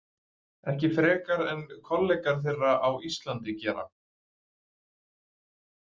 Ekki frekar en kollegar þeirra á Íslandi gera.